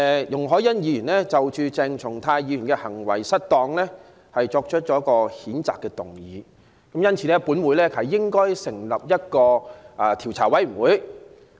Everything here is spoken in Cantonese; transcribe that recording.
容海恩議員就鄭松泰議員行為失當提出了一項譴責議案，因此，本會應成立調查委員會跟進。